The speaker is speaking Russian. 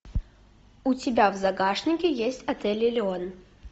у тебя в загашнике есть отель элеон